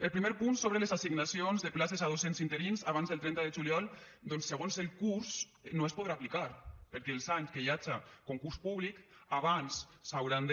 el primer punt sobre les assignacions de places a docents interins abans del trenta de juliol doncs segons el curs no es podrà aplicar perquè els anys que hi haja concurs públic abans s’hauran de